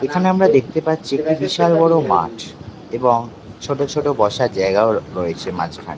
এখানে আমরা দেখতে পাচ্ছি একটি বিশাল বড় মাঠ এবং ছোট ছোট বসার জায়গায়ও রয়েছে মাঝখান--